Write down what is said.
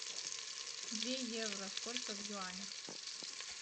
две евро сколько в юанях